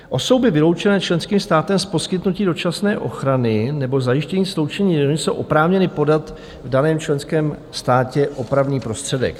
Osoby vyloučené členským státem z poskytnutí dočasné ochrany nebo zajištění sloučení rodiny jsou oprávněny podat v daném členském státě opravný prostředek.